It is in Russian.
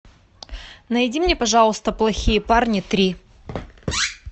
найди мне пожалуйста плохие парни три